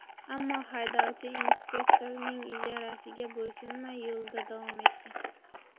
Ammo haydovchi inspektorning ishorasiga bo‘ysunmay, yo‘lida davom etgan.